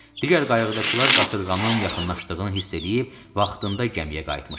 Digər qayığıdakılar qasırğanın yaxınlaşdığını hiss edib vaxtında gəmiyə qayıtmışdılar.